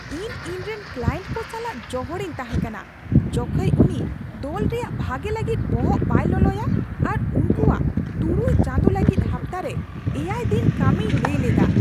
ᱤᱧ ᱤᱧᱨᱮᱱ ᱠᱞᱟᱭᱮᱱᱴ ᱠᱚ ᱥᱟᱞᱟᱜ ᱡᱚᱦᱚᱲᱤᱧ ᱛᱟᱦᱮᱸ ᱠᱟᱱᱟ ᱡᱚᱠᱷᱮᱡ ᱩᱱᱤ ᱫᱚᱞ ᱨᱮᱭᱟᱜ ᱵᱷᱟᱜᱮ ᱞᱟᱹᱜᱤᱫ ᱵᱚᱦᱚᱜ ᱵᱟᱭ ᱞᱚᱞᱚᱭᱟ ᱟᱨ ᱩᱱᱠᱩᱣᱟᱜ ᱖ ᱪᱟᱸᱫᱳ ᱞᱟᱹᱜᱤᱫ ᱦᱟᱯᱛᱟᱨᱮ ᱗ ᱫᱤᱱ ᱠᱟᱹᱢᱤᱭ ᱞᱟᱹᱭ ᱞᱮᱫᱟ ᱾